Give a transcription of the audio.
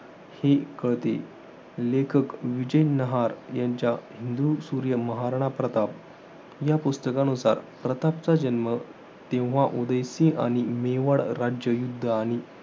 हे कळते. लेखक विजय नहार, यांच्या हिंदू सूर्य महाराणा प्रताप या पुस्तकानुसार प्रतापचा जन्म, तेव्हा उदय सिंह आणि मेवाड राज्य युध्द आणि